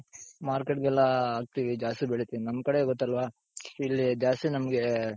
market ಗೆಲ್ಲ ಹಾಕ್ತೀವಿ ಜಾಸ್ತಿ ಬೆಳೆತಿವಿ ನಮ್ ಕಡೆ ಗೊತ್ತಲ್ವ, ಇಲ್ಲಿ ಜಾಸ್ತಿ ನಮ್ಗೆ